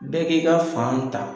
Bɛɛ k'i ka fan ta.